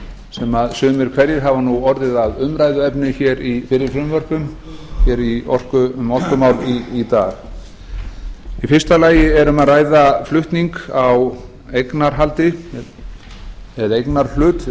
sem sumir hverjir hafa orðið að umræðuefni í fyrri frumvörpum í orkunotkunar í dag í fyrsta lagi er um að ræða flutning á eignarhaldi eða eignarhlut